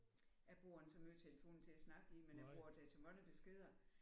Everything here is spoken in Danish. Jeg bruger ikke så meget telefonen til at snakke i men jeg bruger den til mange beskeder